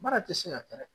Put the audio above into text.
Baara tɛ se ka kɛ dɛ